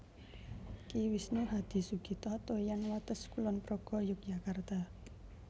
Ki Wisnu Hadisugito Toyan Wates Kulon Progo Yogyakarta